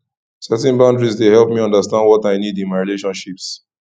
setting boundaries dey help me understand what i need in my relationships